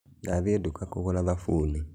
Ndathĩĩ duka kũgũra thabunĩ